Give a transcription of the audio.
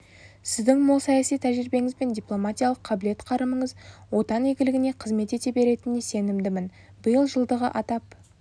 сіздің мол саяси тәжірибеңіз бен дипломатиялық қабілет-қарымыңыз отан игілігіне қызмет ете беретініне сенімдімін биыл жылдығы атап